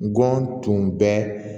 Ngɔnɔn tun bɛ